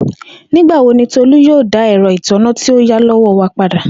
Nigbawo ni Tolu yoo da ina ẹrọ itanna ti o ya lowo wa pada?